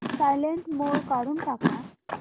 silent mode काढून टाक